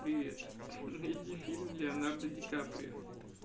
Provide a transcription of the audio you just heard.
привет ха-ха найди фильм леонардо ди каприо